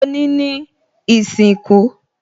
Òní ni ìsìnkú